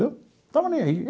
Estava nem aí.